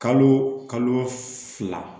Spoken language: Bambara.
Kalo kalo fila